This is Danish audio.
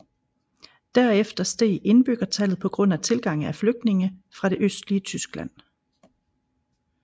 Derefter steg indbyggertallet på grund af tilgang af flygtninge fra det østlige Tyskland